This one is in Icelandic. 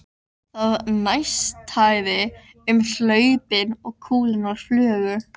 Það neistaði um hlaupin og kúlurnar flugu.